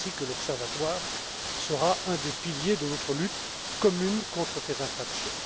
L'Observatoire sera un des piliers de notre lutte commune contre ces infractions.